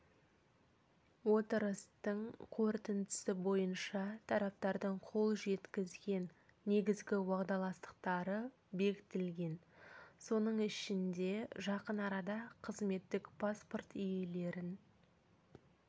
отырыстың қорытындысы бойынша тараптардың қол жетізген негізгі уағдаластықтары бекітілген оның ішінде жақын арада қызметтік паспорт иелерін